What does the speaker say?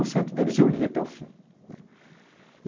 deles eu lia até o fim, né.